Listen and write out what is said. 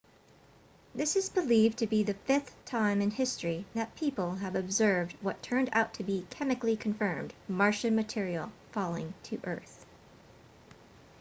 this is believed to be the fifth time in history that people have observed what turned out to be chemically confirmed martian material falling to earth